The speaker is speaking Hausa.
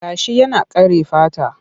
Gashi yana kare fata.